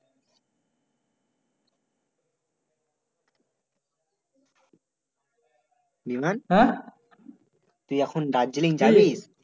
বিমান? , তুই এখন দার্জিলিং যাবি?